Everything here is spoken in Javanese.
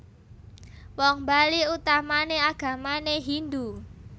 Wong Bali utamané agamané Hindu